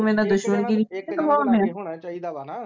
ਮੇਰੇ ਨਾਲ ਦੁਸ਼ਮਣੀ ਕਮਾਉਂਦੇ